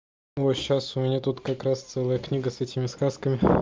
вот сейчас у меня тут как раз целая книга с этими сказками